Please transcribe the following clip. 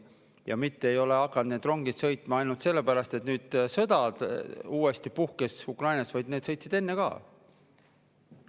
Need rongid ei ole hakanud sõitma sellepärast, et nüüd puhkes uuesti sõda Ukrainas, vaid need sõitsid enne ka.